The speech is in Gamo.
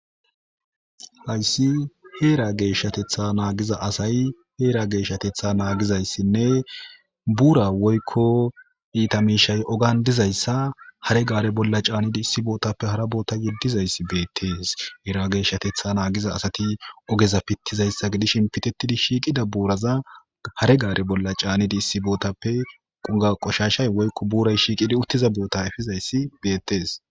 Hayssi heera geeshshatetha naagiza asay heera geeshatetha naagizayssinne buura woykko iitamishay ogan dizayssa hare gaare bolla caanidi issi bootappe hara boota yeddizayssi beettees eera geeshshatetha naagiza asati ogeza pittizayssa gidish inpitettidi shiiqida buuraza hare gaare bolla caanidi issi bootappe quga qoshashay woykko buuray shiiqidi uttiza boota efizayssi beettees.